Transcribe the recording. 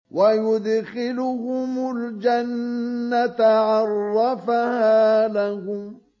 وَيُدْخِلُهُمُ الْجَنَّةَ عَرَّفَهَا لَهُمْ